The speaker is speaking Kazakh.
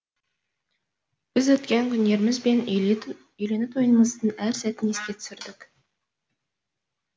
біз өткен күндеріміз бен үйлену тойымыздың әр сәтін еске түсірдік